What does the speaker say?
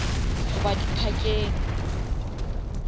goba di parkeng